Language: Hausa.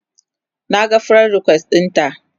Naga friend request ɗinta